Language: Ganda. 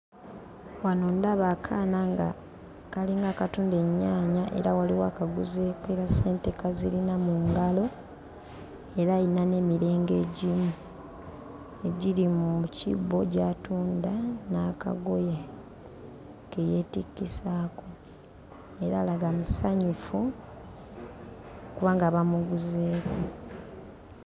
Wano ndaba akaana nga kalinga akatunda ennyaanya era waliwo akaguzeeko era ssente kazirina mu ngalo era ayina n'emirengo egimu egiri mu kibbo gy'atunda n'akagoye ke yeetikkisaako era alaga musanyufu kubanga bamuguzeeko.